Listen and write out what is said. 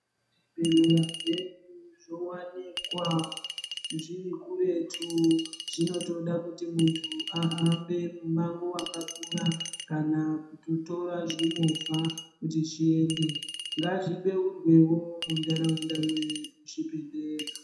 Zvibhedhlera zvedu zvowanikwa zviri kuretu zvinotoda kuti muntu ahambe mumango wakakura kana kutótora zvimovha kuti zviende ngazvibeurwewo munharaunda mwedu zvibhedhlera.